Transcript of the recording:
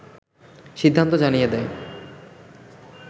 সিদ্ধান্ত জানিয়ে দেয়